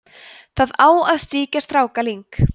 það á að strýkja strákaling